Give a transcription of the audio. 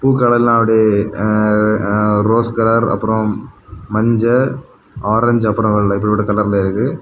பூக்கள் எல்லா அப்படியே ரோஸ் கலர் அப்பறொ மஞ்ச ஆரஞ்சு அப்புறம் அப்படிப்பட்ட கலர்ல இருக்கு.